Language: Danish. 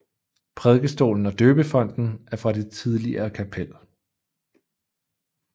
Prædikestolen og døbefonten er fra det tidligere kapel